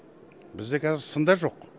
бізде қазір сын да жоқ